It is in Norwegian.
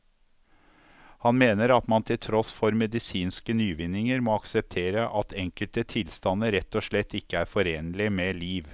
Han mener at man til tross for medisinske nyvinninger må akseptere at enkelte tilstander rett og slett ikke er forenlig med liv.